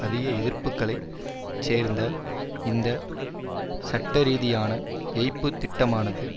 அதிக எதிர்ப்புகளைச் சேர்ந்த இந்த சட்டரீதியான ஏய்ப்புத் திட்டமானது